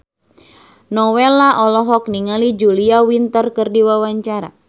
Nowela olohok ningali Julia Winter keur diwawancara